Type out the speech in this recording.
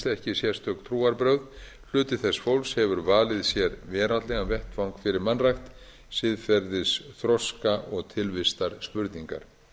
ekki sérstök trúarbrögð hluti þess fólks hefur valið sér veraldlegan vettvang fyrir mannrækt siðferðisþroska og tilvistarspurningar